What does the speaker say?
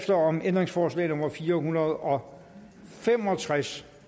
om ændringsforslag nummer fire hundrede og fem og tres